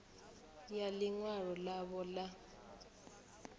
ya ḽi ṅwalo ḽavho ḽa